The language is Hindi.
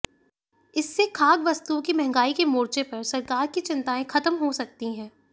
इससे खाद्य वस्तुओं की महंगाई के मोर्चे पर सरकार की चिंताएं खत्म हो सकती हैं